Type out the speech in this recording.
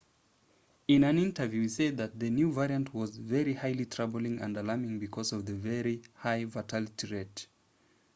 in an interview he said the new variant was very highly troubling and alarming because of the very high fatality rate